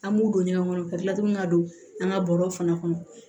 An b'u don ɲɔgɔn kɔnɔ ka kila tuguni ka don an ka bɔrɔ fana kɔnɔ